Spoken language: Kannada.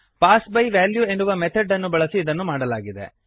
ಪಾಸ್ ಬೈ ವ್ಯಾಲ್ಯೂ ಎನ್ನುವ ಮೆಥಡ್ ಅನ್ನು ಬಳಸಿ ಇದನ್ನು ಮಾಡಲಾಗಿದೆ